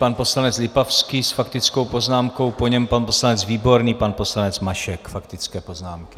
Pan poslanec Lipavský s faktickou poznámkou, po něm pan poslanec Výborný, pan poslanec Mašek, faktické poznámky.